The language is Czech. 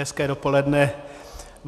Hezké dopoledne.